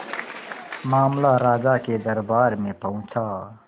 मामला राजा के दरबार में पहुंचा